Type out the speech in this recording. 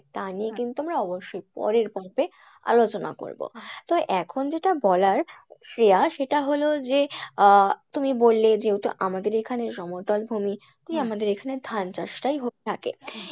তা নিয়ে কিন্তু আমরা অবশ্যই পরের পর্বে আলোচনা করবো তো এখন যেটা বলার শ্রেয়া সেটা হলো যে আহ তুমি বললে যেহেতু আমাদের এইখানে সমতল ভূমি আমাদের এখানে ধান চাষ টাই হয়ে থাকে